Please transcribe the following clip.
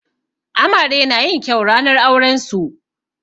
Amare na yin kyau ranar auren su.